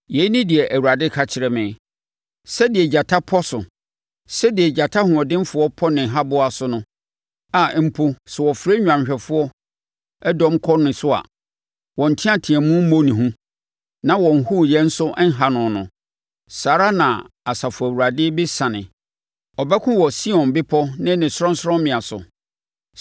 Yei ne deɛ Awurade ka kyerɛ me: “Sɛdeɛ gyata pɔ so, sɛdeɛ gyata hoɔdenfoɔ pɔ ne haboa so no a mpo sɛ wɔfrɛ nnwanhwɛfoɔ dɔm kɔ ne so a, wɔn nteateam mmɔ ne hu na wɔn hooyɛ nso nha no no saa ara na Asafo Awurade bɛsiane abɛko wɔ Sion Bepɔ ne ne sorɔnsorɔmmea so.